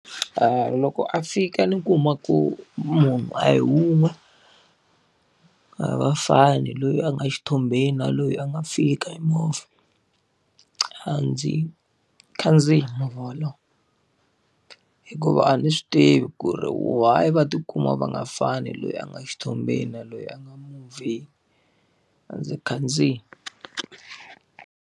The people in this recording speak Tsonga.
Loko a fika ni kuma ku munhu a hi wun'we, a va fani, loyi a nga xithombeni na loyi a nga fika hi movha. A ndzi khandziyi movha wolowo, hikuva a ni swi tivi ku ri why va ti kuma va nga fani loyi a nga xithombeni na loyi a nga le movheni. A ndzi khandziyi.